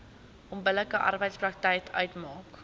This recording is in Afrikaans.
onbillike arbeidspraktyk uitmaak